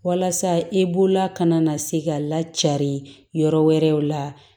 Walasa i bolola kana na se ka lacaari yɔrɔ wɛrɛw la